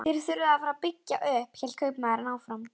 Þér þurfið að fara að byggja upp, hélt kaupmaðurinn áfram.